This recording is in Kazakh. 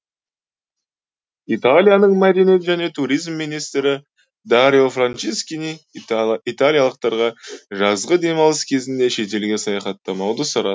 италияның мәдениет және туризм министрі дарио франческини италиялықтарға жазғы демалыс кезінде шетелге саяхаттамауды сұра